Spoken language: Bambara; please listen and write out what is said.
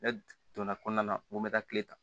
Ne donna kɔnɔna na n ko n bɛ taa kile ta